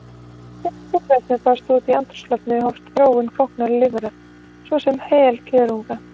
Þegar súrefni barst út í andrúmsloftið hófst þróun flóknara lífvera, svo sem heilkjörnunga.